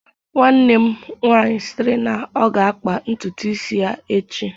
Nwanne m nwanyi sịrị na ọ ga-akpa ntutu isi ya echi